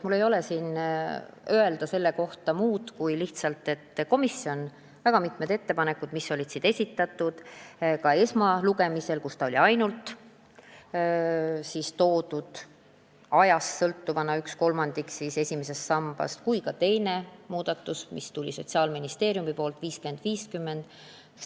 Mul ei ole selle kohta muud öelda, kui et komisjon kaalus neid väga mitmeid ettepanekud, mis olid esitatud.